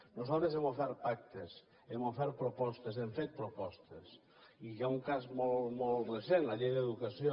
nosaltres hem ofert pactes hem ofert propostes hem fet propostes i hi ha un cas molt recent la llei d’educació